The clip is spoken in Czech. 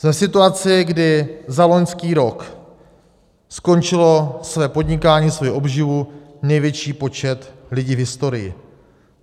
Jsme v situaci, kdy za loňský rok skončil své podnikání, svoji obživu největší počet lidí v historii.